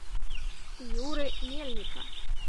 юры мельника